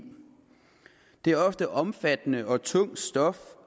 det er ofte omfattende og tungt stof